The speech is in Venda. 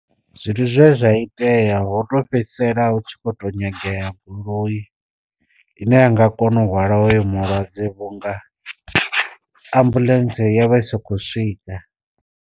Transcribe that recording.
Zwithu zwine zwa itea ho to fhedzisela hu tshi kho to nyangea goloi ine yanga kona u hwala hoyo mulwadze vhunga ambuḽentse yo vha i sa kho swika.